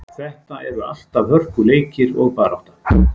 Þetta eru alltaf hörkuleikir og barátta.